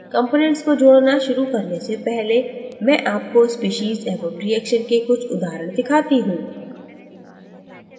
components को जोड़ना शुरु करने से पहले मैं आपको स्पीशीज़ एवं रिएक्शन के कुछ उदाहरण दिखाती हूँ